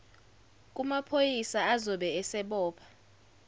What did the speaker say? kumaphoyisa azobe esebopha